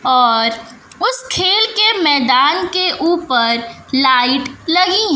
और उस खेल के मैदान के ऊपर लाइट लगी हैं।